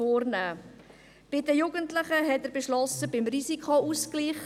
Er beschloss bei den Jugendlichen eine Änderung beim Risikoausgleich.